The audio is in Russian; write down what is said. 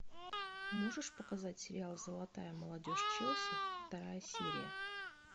можешь показать сериал золотая молодежь челси вторая серия